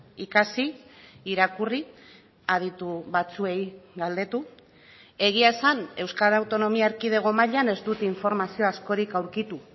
ikasi irakurri aditu batzuei galdetu egia esan euskal autonomia erkidego mailan ez dut informazio askorik aurkitu